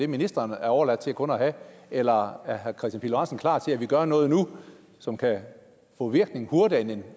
ministeren er overladt til kun at have eller er herre kristian pihl lorentzen klar til at vi gør noget nu som kan få virkning hurtigere